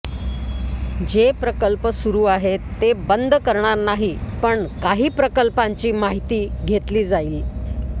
जे प्रकल्प सुरू आहेत ते बंद करणार नाही पण काही प्रकल्पांची माहिती घेतली जाईल